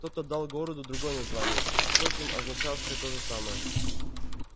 кто-то дал городу другое название впрочем означавшее то же самое